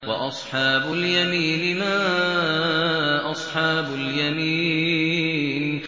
وَأَصْحَابُ الْيَمِينِ مَا أَصْحَابُ الْيَمِينِ